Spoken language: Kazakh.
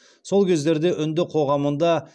сол кездерде үнді қоғамында